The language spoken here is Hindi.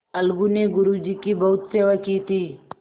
अलगू ने गुरु जी की बहुत सेवा की थी